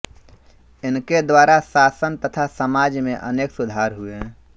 इनके द्वारा शासन तथा समाज में अनेक सुधार हुए